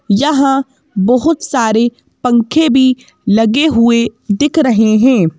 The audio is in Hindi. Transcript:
यहाँ बहुत सारे पंखे भी लगे हुए दिख रहे हैं।